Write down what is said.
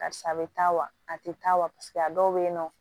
Karisa bɛ taa wa a tɛ taa wa paseke a dɔw bɛ yen nɔ